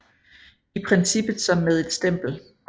I princippet som med et stempel